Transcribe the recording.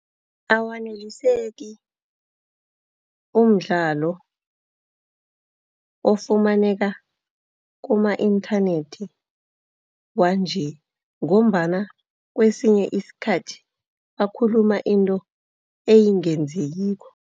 Awaneliseki umdlalo ofumaneka kuma inthanethi wanje ngombana kwesinye iskhathi bakhuluma into engenzekiko.